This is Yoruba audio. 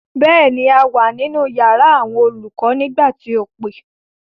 Bẹ́ẹ̀ ni, a wà nínú yàrá àwọn olùkọ nígbà tí o pè.